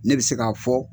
Ne bɛ se k'a fɔ